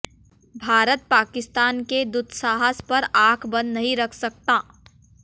भारत पाकिस्तान के दुस्साहस पर आंख बंद नहीं रख सकता